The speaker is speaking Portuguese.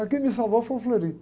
Aí quem me salvou foi o.